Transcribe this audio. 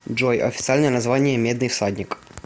джой официальное название медный всадник